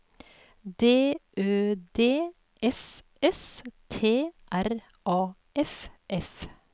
D Ø D S S T R A F F